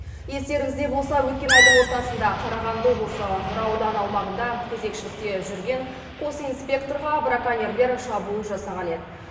естеріңізде болса өткен айдың ортасында қарағанды облысы нұра ауданы аумағында кезекшілікте жүрген қос инспекторға браконьерлер шабуыл жасаған еді